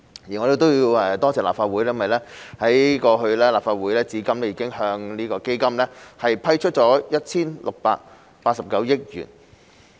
而我亦要感謝立法會，因為立法會至今已向基金批出了 1,689 億元。